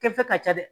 Kɛfe ka ca dɛ